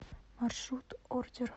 маршрут ордер